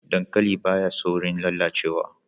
Dankali ba ya saurin lalacewa